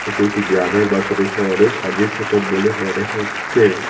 একটি গ্রামের বা ছোটো শহরের সার্ভিস সেন্টার বলে মনে হচ্ছে।